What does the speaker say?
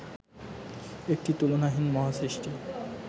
একটি তুলনাহীন মহাসৃষ্টি